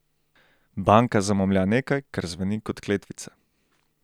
Banka zamomlja nekaj, kar zveni kot kletvica.